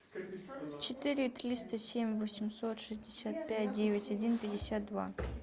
четыре триста семь восемьсот шестьдесят пять девять один пятьдесят два